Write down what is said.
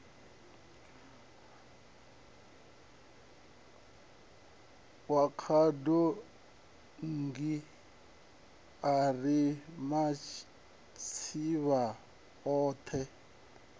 wa khadonngi ari matsivha othe